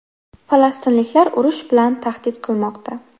Falastinliklar urush bilan tahdid qilmoqda.